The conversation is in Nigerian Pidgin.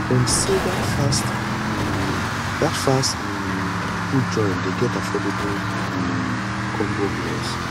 dem sey dat fast um dat fast um food joint dey get affordable um combo meals